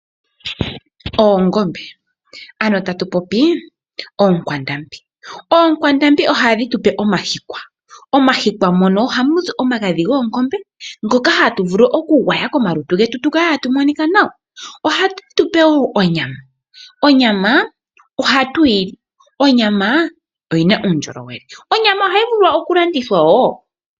Oongombe, ano tatu popi ookwandambi, ookwandambi ohadhi tu pe omahikwa, momahikwa moka ohamu zi omagadhi goongombe ngoko hatu vulu okugwaya komalutu getu tu kale tatu monika nawa. Ohadhi tu pe woo onyama, onyama ohatu yili, onyama oyina uundjolowele, onyama ohayi vulu oku landithwa woo.